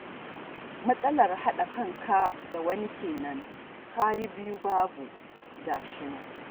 Matsalar haɗa kanka da wani kenan, ka yi biyu babu ga shi nan